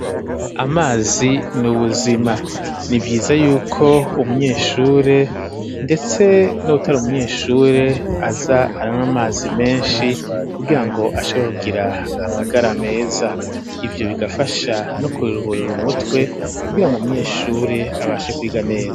Amazi n'ubuzima nivyiza yuko umunyeshure ndetse nuw'utari umunyeshure aza aranwa amazi menshi kugirango ashore kugira amagara meza ivyo bigafasha no kuri ruhuriro umutwe kugira ngo umunyeshure abashe kwiga neza.